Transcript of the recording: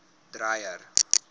dreyer